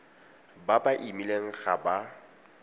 ba ba imileng ga ba